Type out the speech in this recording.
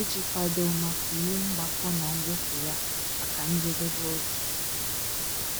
iji kwado maka ule mgbakọ na mwepụ ya maka njedebe oge